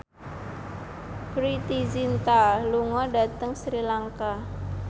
Preity Zinta lunga dhateng Sri Lanka